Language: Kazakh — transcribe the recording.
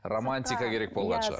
романтика керек болған шығар